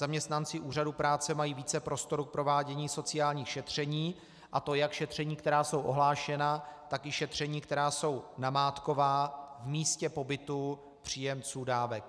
Zaměstnanci Úřadu práce mají více prostoru k provádění sociálních šetření, a to jak šetření, která jsou ohlášena, tak i šetření, která jsou namátková v místě pobytu příjemců dávek.